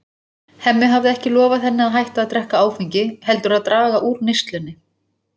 Hemmi hafði ekki lofað henni að hætta að drekka áfengi heldur að draga úr neyslunni.